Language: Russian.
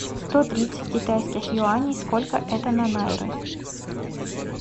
сто тридцать китайских юаней сколько это на найры